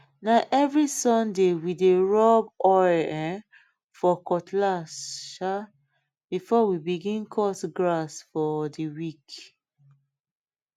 na every sunday we dey rub oil um for cutlass um before we begin cut grass for the week